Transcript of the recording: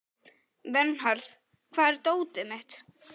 Vernharð, hvar er dótið mitt?